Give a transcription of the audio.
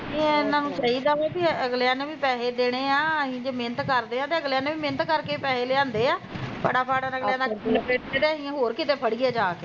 ਨੀ ਇਹਨਾਂ ਨੂੰ ਚਾਹੀਦਾ ਵੀ ਅਗਲਿਆ ਨੇ ਵੀ ਪੈਸੇ ਦੇਣੇ ਆ ਵੀ ਅਸੀਂ ਜੇ ਮੇਨਤ ਕਰਦੇ ਆ ਤੇ ਅਗਲਿਆਂ ਨੇ ਵੀ ਮੇਨਤ ਕਰਕੇ ਈ ਪੈਸੇ ਲਿਆਂਦੇ ਆ ਫਟਾ ਫੱਟ ਅਗਲਿਆ ਦਾ ਲਪੇਟ ਕੇ ਤੇ ਅਸੀਂ ਹੋਰ ਕੀਤੇ ਫੜੀਏ ਜਾਂ ਕੇ